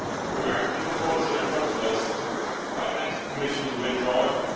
Regarding the proposal in front of us, I would ask the Commission to withdraw it.